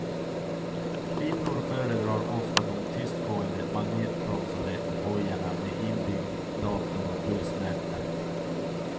Kvinnor föredrar ofta de tystgående magnetbromsade hojarna med inbyggd dator och pulsmätare.